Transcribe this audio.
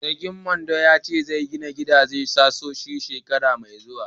Sarkin Mando ya ce zai gina gidan sohohi shekara mai zuwa.